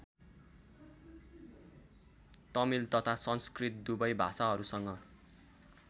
तमिल तथा संस्कृत दुवै भाषाहरूसँग